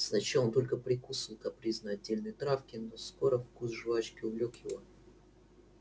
сначала он только прикусывал капризно отдельные травки но скоро вкус жвачки увлёк его